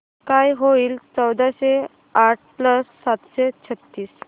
काय होईल चौदाशे आठ प्लस सातशे छ्त्तीस